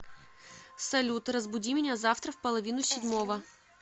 салют разбуди меня завтра в половину седьмого